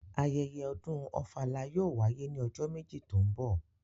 Ayẹyẹ ọ̀dún Ofala yóò wàyé ni ọjọ meji to ńbọ.